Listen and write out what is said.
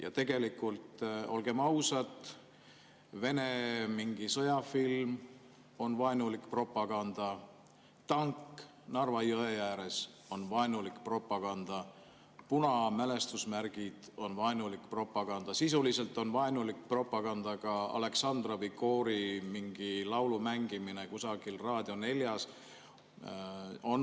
Ja tegelikult, olgem ausad, Vene mingi sõjafilm on vaenulik propaganda, tank Narva jõe ääres on vaenulik propaganda, punamälestusmärgid on vaenulik propaganda, sisuliselt on vaenulik propaganda ka Aleksandrovi koori mingi laulu mängimine kusagil Raadio 4‑s.